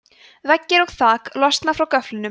veggir og þak losna frá göflunum